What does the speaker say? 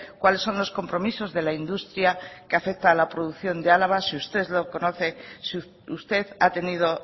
cuáles son los compromisos de la industria que afecta a la producción de álava si usted lo conoce si usted ha tenido